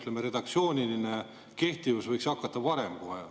Selle redaktsiooni kehtivus võiks hakata varem.